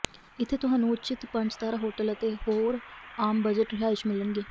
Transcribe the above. ਇੱਥੇ ਤੁਹਾਨੂੰ ਉੱਚਿਤ ਪੰਜ ਤਾਰਾ ਹੋਟਲ ਅਤੇ ਹੋਰ ਆਮ ਬਜਟ ਰਿਹਾਇਸ਼ ਮਿਲਣਗੇ